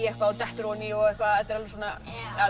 eitthvað og dettur oní og eitthvað þetta er svona